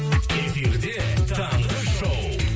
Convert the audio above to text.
эфирде таңғы шоу